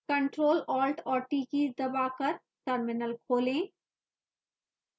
ctrl alt और t keys दबाकर terminal खोलें